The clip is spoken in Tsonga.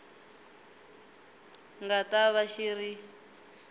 nga ta va xi ri